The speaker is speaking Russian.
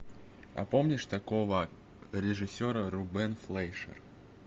а помнишь такого режиссера рубен флейшер